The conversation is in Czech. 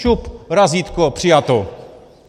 Šup, razítko, přijato.